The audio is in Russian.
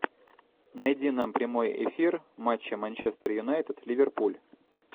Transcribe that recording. найди нам прямой эфир матча манчестер юнайтед ливерпуль